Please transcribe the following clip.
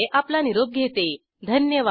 सहभागासाठी धन्यवाद